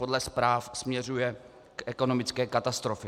Podle zpráv směřuje k ekonomické katastrofě.